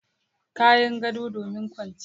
Kayan gado domin kwanciya.